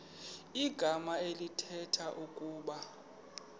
igama elithetha ukuba